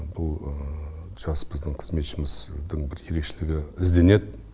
бұл жас біздің қызметшіміздің бір ерекшелігі ізденеді